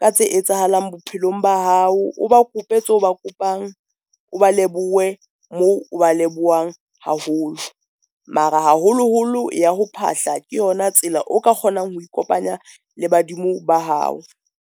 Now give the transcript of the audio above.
ka tse etsahalang bophelong ba hao, o ba kope tse o ba kopang o ba lebohe moo o ba lebohang haholo. Mara haholoholo ya ho phahla ke yona tsela o ka kgonang ho ikopanya le badimo ba hao.